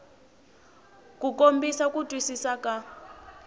ku kombisa ku twisisa ka